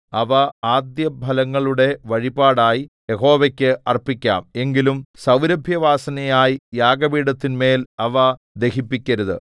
അവ ആദ്യഫലങ്ങളുടെ വഴിപാടായി യഹോവയ്ക്ക് അർപ്പിക്കാം എങ്കിലും സൗരഭ്യവാസനയായി യാഗപീഠത്തിന്മേൽ അവ ദഹിപ്പിക്കരുത്